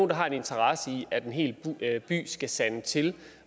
der har en interesse i at en hel by skal sande til